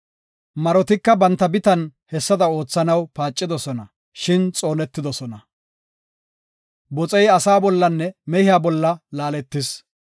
Marotika banta bitan hessada oothanaw paacidosona, shin xoonetidosona. Boxey asaa bollanne mehiya bolla laaletis.